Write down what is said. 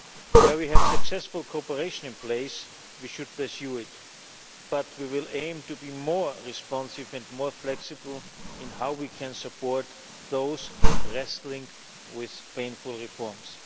Union. Where we have successful cooperation in place we should pursue it, but we will aim to be more responsive and more flexible in how we can support those wrestling with painful reforms.